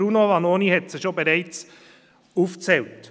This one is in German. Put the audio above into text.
Bruno Vanoni hat sie bereits aufgezählt.